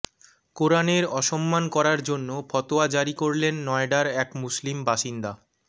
কোরানের অসম্মান করার জন্য ফতোয়া জারি করলেন নয়ডার এক মুসলিম বাসিন্দা